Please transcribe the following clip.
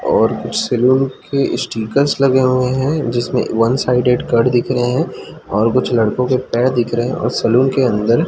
और सैलून के स्टिकर्स लगे हुए है जिसमें वन साइडेड कट दिख रहें है और कुछ लड़कों के पैर दिख रहे है और सलून के अंदर --